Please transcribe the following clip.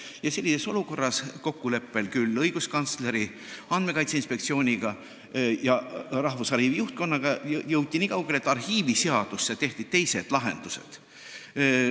Ja sellises olukorras jõuti kokkuleppel õiguskantsleriga, Andmekaitse Inspektsiooniga ja Rahvusarhiivi juhtkonnaga nii kaugele, et arhiiviseadusse tehti teised lahendused.